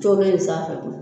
bɛ in sanfɛ fɛ koyi